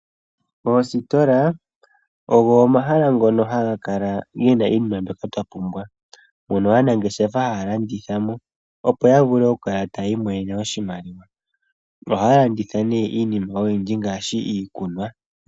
Oositola ogo omahala ngono haga kala ge na iinima mbyoka twa pumbwa mono aanangeshefa haya landithamo opo ya vule okukala ta yiimonene oshimaliwa noha ya landitha ne iinima oyindji ngaashi iikunwa.